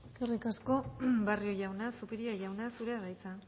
eskerrik asko barrio jauna zupiria jauna zurea da hitza